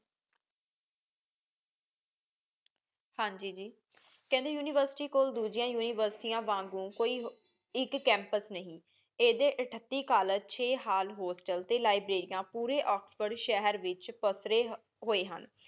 ਹਾਂਜੀ ਜੀ ਕਹਿੰਦੇ ਉਨਿਵੇਰ੍ਸਿਟੀ ਕੋਲ ਦੂਜਿਯਾਂ ਉਨਿਵੇਰ੍ਸਿਤ੍ਯਾਂ ਵਾਂਗੂ ਕੋਈ ਇਕ ਕੈਮ੍ਪੁਸ ਨਹੀ ਏਹਦੀ ਏਥ੍ਤੀ ਕੋਲ੍ਲੇਗੇ ਚੇ ਹੋਸਟਲ ਟੀ ਲਿਬ੍ਰਾਰਿਯਾੰ ਪੂਰੀ ਓਕ੍ਸ੍ਫੋਰਡ ਸ਼ੇਹਰ ਵਿਚ ਪਸਰੇ ਹੋਏ ਹਨ